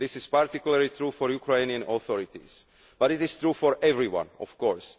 This is particularly true for the Ukrainian authorities but it is true for everyone, of